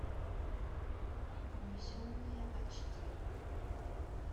унесенные ач ди